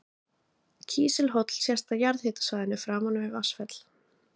Kísilhóll sést á jarðhitasvæðinu framan við Vatnsfell.